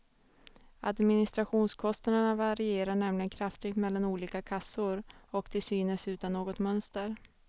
Administrationskostnaderna varierar nämligen kraftigt mellan olika kassor, och till synes utan något mönster.